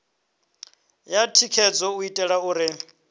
ya thikhedzo u itela uri